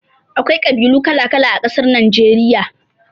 Akwai ƙabilu kala-kala a ƙasar Nageriya.